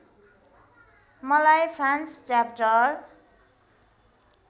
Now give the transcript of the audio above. मलाई France chapter